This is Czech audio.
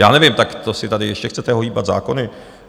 Já nevím, tak to si tady ještě chcete ohýbat zákony?